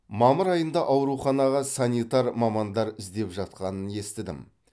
мамыр айында ауруханаға санитар мамандар іздеп жатқанын естідім